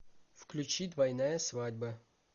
включи двойная свадьба